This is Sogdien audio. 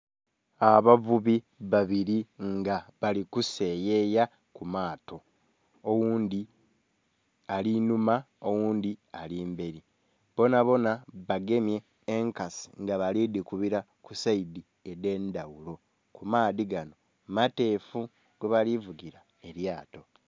Abavubi babiri nga bali kuseyeya ku mato oghundhi ali inhuma oghundhi ali mberi bonabona bagemye enkasi nga bali dhikubila ku esaidhi edhe ndhaghulo. Amaadhi ganho mateefu kwe bali vugila amato.